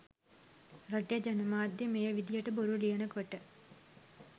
රටේ ජනමාධ්‍ය මේ විදිහට බොරු ලියනකොට